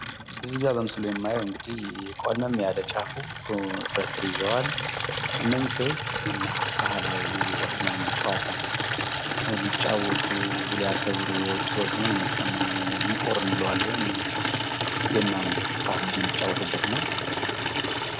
ከዚህ ላይ በምስሉ የማየው እንግዲህ ቆልመም ያለ ጫፉ በትር ይዘዋል። እነኝ ሰዎች የገና ባህላዊ ውዝዋዜ ጨዋታን ሊጫወቱ ሊያከበሩ የወጡ ሰዎች እንደሆኑ ነው የሚሰማኝ እንቆር እንለዋለን። የገናን ኳስ የምንጫወትበት ነው።